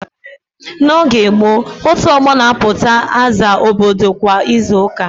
N'oge gboo, otu ọgbọ na-apụta aza obodo kwa izu ụka.